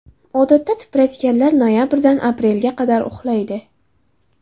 Odatda tipratikanlar noyabrdan aprelga qadar uxlaydi.